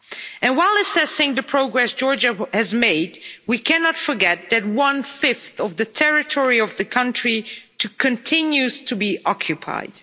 And while assessing the progress Georgia has made, we cannot forget that one fifth of the territory of the country continues to be occupied.